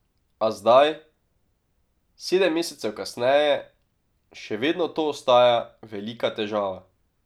A zdaj, sedem mesecev kasneje, še vedno to ostaja velika težava.